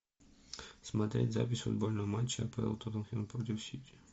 смотреть запись футбольного матча апл тоттенхэм против сити